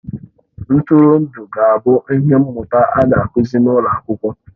Ntụrụndụ ga-abụ ihe mmụta a ga-akụzi n'ụlọ akwụkwọ